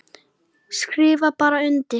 Skrifa bara undir.